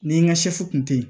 Ni n ka kun tɛ yen